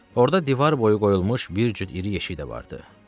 Orda divar boyu qoyulmuş bir cüt iri yeşik də vardı.